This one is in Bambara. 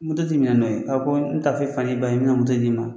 ti minɛ n'o ye, ko n taa f'e fa n'i ba ye ɲa d'i ma